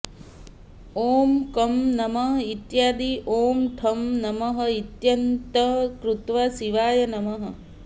ॐ कं नमः इत्यादि ॐ ठं नमः इत्यन्तं कृत्वा शिवाय नमः